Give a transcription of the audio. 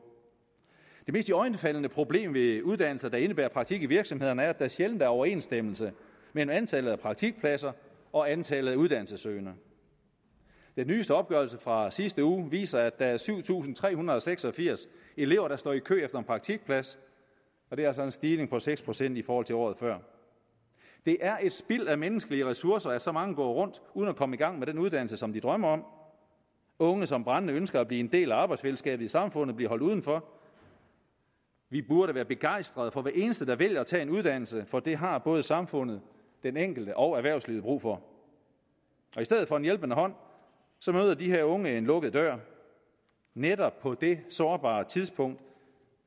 det mest iøjnefaldende problem ved uddannelser der indebærer praktik i virksomhederne er at der sjældent er overensstemmelse mellem antallet af praktikpladser og antallet af uddannelsessøgende den nyeste opgørelse fra sidste uge viser at der er syv tusind tre hundrede og seks og firs elever der står i kø efter en praktikplads det er altså en stigning på seks procent i forhold til året før det er et spild af menneskelige ressourcer at så mange går rundt uden at komme i gang med den uddannelse som de drømmer om unge som brændende ønsker at blive en del af arbejdsfællesskabet i samfundet bliver holdt uden for vi burde være begejstrede for hver eneste der vælger at tage en uddannelse for det har både samfundet den enkelte og erhvervslivet brug for i stedet for en hjælpende hånd møder de her unge en lukket dør netop på det sårbare tidspunkt